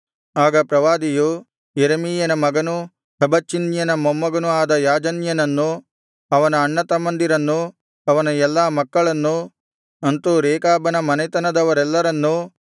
ಆಗ ಪ್ರವಾದಿಯು ಯೆರೆಮೀಯನ ಮಗನೂ ಹಬಚ್ಚಿನ್ಯನ ಮೊಮ್ಮಗನೂ ಆದ ಯಾಜನ್ಯನನ್ನು ಅವನ ಅಣ್ಣತಮ್ಮಂದಿರನ್ನು ಅವನ ಎಲ್ಲಾ ಮಕ್ಕಳನ್ನು ಅಂತು ರೇಕಾಬನ ಮನೆತನದವರೆಲ್ಲರನ್ನೂ